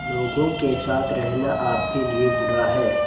लोगों के साथ रहना आपके लिए बुरा है